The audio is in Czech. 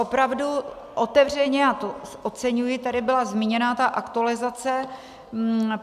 Opravdu otevřeně - a to oceňuji - tady byla zmíněna ta aktualizace.